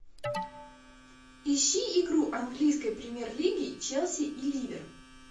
ищи игру английской премьер лиги челси и ливер